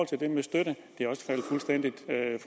til det med støtte